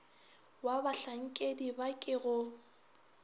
wa bahlankedi ba ke go